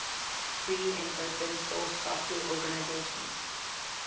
free and open source software organizations